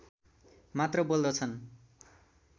मात्र बोल्दछन्